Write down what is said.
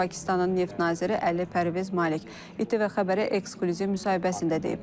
Bunu Pakistanın neft naziri Əli Pərviz Malik İTV Xəbərə ekskluziv müsahibəsində deyib.